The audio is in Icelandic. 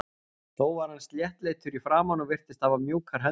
Þó var hann sléttleitur í framan og virtist hafa mjúkar hendur.